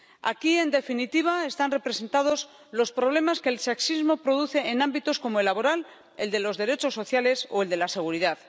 Aquí, en definitiva, están representados los problemas que el sexismo produce en ámbitos como el laboral, el de los derechos sociales o el de la seguridad.